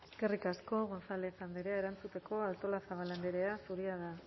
eskerrik asko gonzález andrea erantzuteko artolazabal andrea zurea da